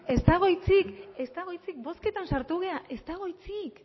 ez dago hitzik ez dago hitzik bozketan sartu gara ez dago hitzik